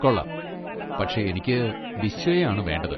കൊള്ളാം, പക്ഷെ എനിക്ക് ബിശ്വയെ ആണ് വേണ്ടത്.